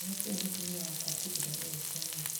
Nĩkĩĩ mũtumia wakwa atigire gũgĩkwo ũmũthĩ.